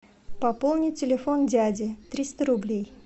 пополнить телефон дяди триста рублей